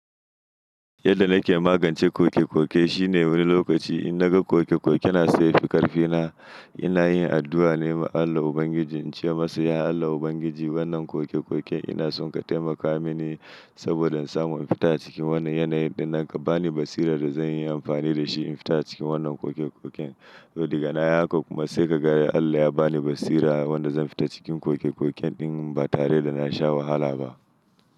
Yadda nake magance koke koke shine wani lokaci in naga koke koke na so yafi ƙarfi na, ina yin addu'a ne ma Allah Ubangiji, in ce masa "Ya Allah Ubangiji wannan koke koken ina son ka taimaka mini saboda in samu in fita acikin wannan yanayi, ɗinnan ka bani basira da zan yi amfani da shi in fita cikin wannan koke koken." To daga nayi haka kuma sai ka ga yadda Allah ya ba ni basira wanda zan fita cikin koke koken ɗin ba tare da na sha wahala ba.